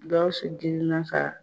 Gawusu dimina ka